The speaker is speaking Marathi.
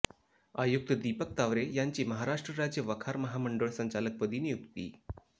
आयुक्त दीपक तावरे यांची महाराष्ट्र राज्य वखार महामंडळ संचालक पदी नियुक्ती